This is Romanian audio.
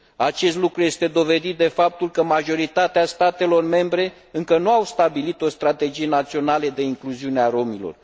Acest lucru este dovedit de faptul că majoritatea statelor membre încă nu au stabilit o strategie națională de incluziune a romilor.